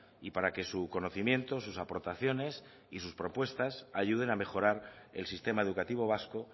y para que su conocimiento sus aportaciones y sus propuestas ayuden a mejorar el sistema educativo vasco